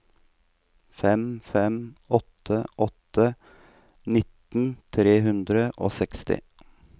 fem fem åtte åtte nitten tre hundre og seksti